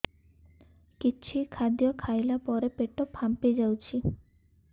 କିଛି ଖାଦ୍ୟ ଖାଇଲା ପରେ ପେଟ ଫାମ୍ପି ଯାଉଛି